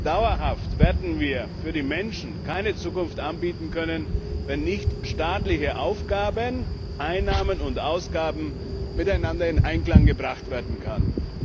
Dauerhaft werden wir den Menschen keine Zukunft anbieten können, wenn nicht staatliche Aufgaben, Einnahmen und Ausgaben miteinander in Einklang gebracht werden können.